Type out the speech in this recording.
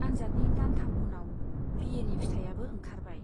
आन्जादनि दानथाम उनाव बि ए नि फिथाइयाबो ओंखारबाय।